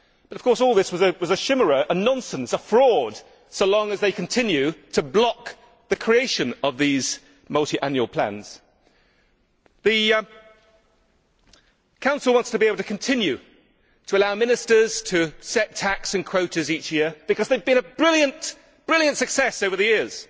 Of course, all this was a chimera, a nonsense, a fraud, so long as they continue to block the creation of these multiannual plans. The Council wants to be able to continue to allow Ministers to set TACs and quotas each year because they have been a brilliant success over the years.